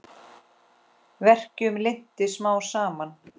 Verkjum linnti smám saman.